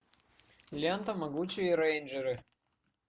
лента могучие рейнджеры